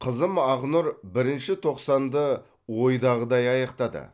қызым ақнұр бірінші тоқсанды оидағыдаи аяқтады